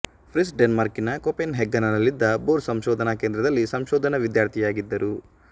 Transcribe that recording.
ಫ್ರಿಶ್ ಡೆನ್ಮಾರ್ಕಿನ ಕೊಪೆನ್ ಹೆಗನ್ನಿನಲ್ಲಿದ್ದ ಭೋರ್ ಸಂಶೋಧನ ಕೇಂದ್ರದಲ್ಲಿ ಸಂಶೋಧನ ವಿದ್ಯಾರ್ಥಿಯಾಗಿದ್ದರು